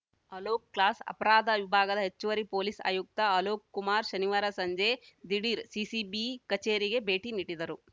ಅಲೋಕ್‌ ಕ್ಲಾಸ್‌ ಅಪರಾಧ ವಿಭಾಗದ ಹೆಚ್ಚುವರಿ ಪೊಲೀಸ್‌ ಆಯುಕ್ತ ಅಲೋಕ್‌ ಕುಮಾರ್‌ ಶನಿವಾರ ಸಂಜೆ ದಿಢೀರ್‌ ಸಿಸಿಬಿ ಕಚೇರಿಗೆ ಭೇಟಿ ನೀಡಿದರು